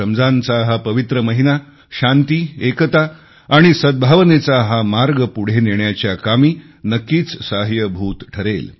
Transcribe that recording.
रमजानचा हा पवित्र महिना शांती एकता आणि सद्भावनेचा हा मार्ग पुढे नेण्याच्या कामी नक्कीच सहाय्यभूत ठरेल